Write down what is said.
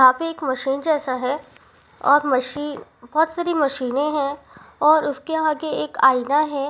यहाँ पर एक मशीन जैसा है और मशीन बहुत सारी मशीने हैं और उसके आगे एक आईना है।